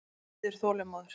Hann bíður þolinmóður.